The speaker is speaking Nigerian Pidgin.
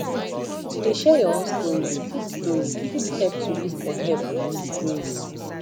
to de share your own story fit story fit help to look for help no disgrace